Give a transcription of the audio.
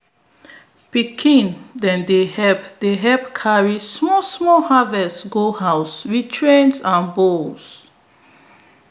pikin dem dey help dey help carry small small harvest go house with trays and bowls